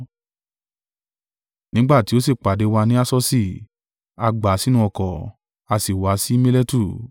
Nígbà tí ó sì pàdé wa ní Asosi, a gbà á sínú ọkọ̀, a sì wá sí Miletu.